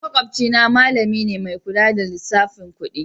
Makwabcina malami ne mai kula da lissafin kudi